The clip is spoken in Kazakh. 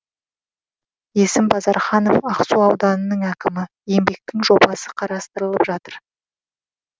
есім базарханов ақсу ауданының әкімі еңбектің жобасы қарастырылып жатыр